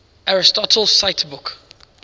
aristotle cite book